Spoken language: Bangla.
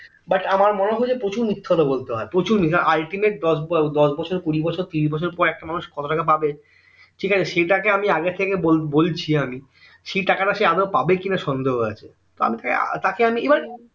but আমার মনেহয় যে প্রচুর মিথ্যে কথা বলতে হয় প্রচুর ultimate দশ বছর কুড়ি বছর তিরিশ বছর পর একটা মানুষ কত টাকা পাবে ঠিক আছে সেটাকে আমি আগে থেকে বলছি আমি সেই টাকাটা সে আদেও পাবে কিনা সন্দেহ আছে তাহলে তাকে আমি এবার